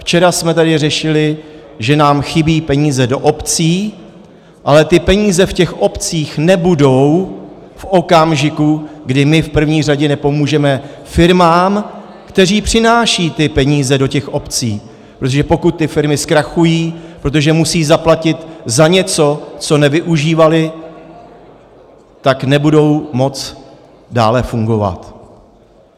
Včera jsme tady řešili, že nám chybí peníze do obcí, ale ty peníze v těch obcích nebudou v okamžiku, kdy my v první řadě nepomůžeme firmám, které přinášejí ty peníze do těch obcí, protože pokud ty firmy zkrachují, protože musí zaplatit za něco, co nevyužívaly, tak nebudou moci dále fungovat.